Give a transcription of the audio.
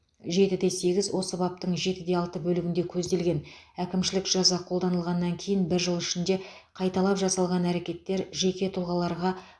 жетіде сегіз осы баптың жетіде алты бөлігінде көзделген әкімшілік жаза қолданылғаннан кейін бір жыл ішінде қайталап жасалған әрекеттер жеке тұлғаларға